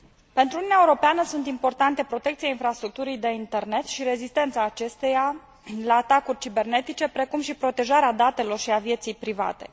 Pentru Uniunea Europeană sunt importante protecția infrastructurii de internet și rezistența acesteia la atacuri cibernetice, precum și protejarea datelor și a vieții private.